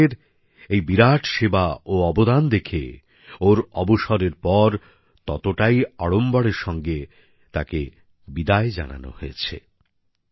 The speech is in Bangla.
বিরাটের এই বিরাট সেবা ও অবদান দেখে ওর অবসরের পর ততটাই আড়ম্বরের সঙ্গে তাকে বিদায় জানানো হয়েছে